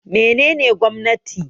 Me nene gwamnati?